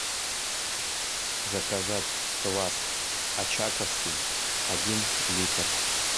заказать квас очаковский один литр